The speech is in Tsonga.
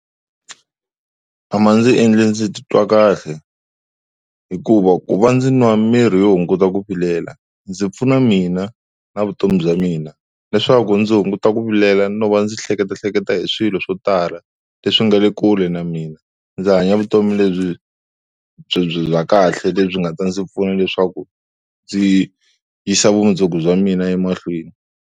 A ma ndzi endla ndzi titwa kahle hikuva ku va ndzi nwa miri yo hunguta ku vilela ndzi pfuna mina na vutomi bya mina, leswaku ndzi hunguta ku vilela no va ndzi hleketahleketa hi swilo swo tala leswi nga lekule na mina. Ndzi hanya vutomi lebyi bya kahle lebyi nga ta ndzi pfuna leswaku ndzi yisa vumundzuku bya mina emahlweni.